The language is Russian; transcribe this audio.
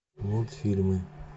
мультфильмы